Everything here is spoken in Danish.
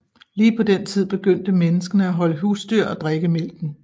Lige på den tid begyndte menneske at holde husdyr og drikke mælken